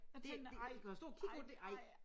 Så tænkte jeg nej nej nej